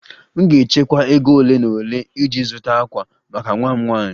M ga-echekwa ego ole na ole iji zụta ákwà maka nwa m nwanyị